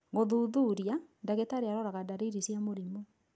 Gũthuturia, dagĩtarĩ aroraga dariri cia mũrimũ.